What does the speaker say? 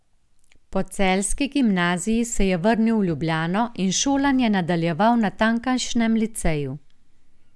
Po celjski gimnaziji se je vrnil v Ljubljano in šolanje nadaljeval na tamkajšnjem liceju.